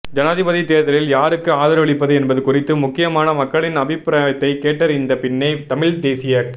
ஜனாதிபதி தேர்தலில் யாருக்கு ஆதரவளிப்பது என்பது குறித்து முக்கியமாக மக்களின் அபிப்பிராயத்தை கேட்டறிந்த பின்பே தமிழ்த் தேசியக்